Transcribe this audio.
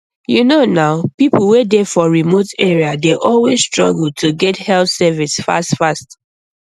you know nah people wey dey for remote area dey always struggle to get health service fast fast